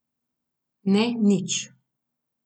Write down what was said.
Ne, nič.